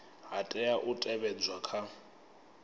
ha tea u teavhedzwa kha